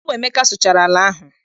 Ọ bụ Emeka sụchara ala ahụ.